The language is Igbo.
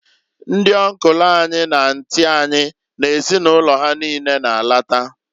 Ndị ọnkụlụ anyị na antị anyị na ezinụlọ ha niine na -alata.